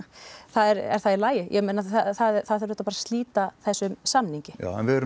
er það í lagi ja það þarf auðvitað bara að slíta þessum samningi en við erum